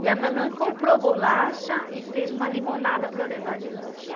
E a mamãe comprou bolacha e fez uma limonada para eu levar de lanche.